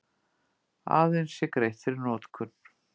Aðeins sé greitt fyrir notkun